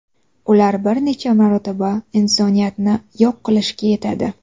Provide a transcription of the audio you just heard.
Ular bir necha marotaba insoniyatni yo‘q qilishga yetadi.